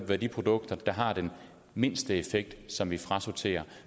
være de produkter der har den mindste effekt som vi frasorterer